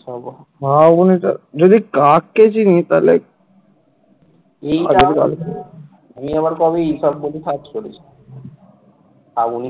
Shrabani